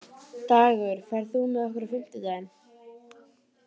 Dagur, ferð þú með okkur á fimmtudaginn?